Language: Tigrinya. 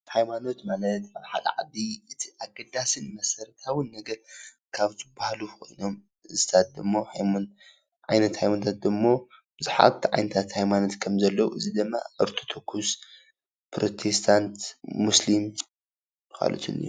ሃይማኖት ማለት ኣብ ሓደ ዓዲ እቲ አገዳሲን መሰረታዊን ነገር ካብ ዝበሃሉ ኮይኖም እዚታት ድማ ዓይነት ሃይማኖታት ዶሞ ብዙሓት ዓይነታት ሃይማኖታት ከም ዘሎ እዙይ ደማ ኦርቶዶክስ፣ ፕሮቴስታንት ፣ ሙስሊም ካልኦትን እዮም።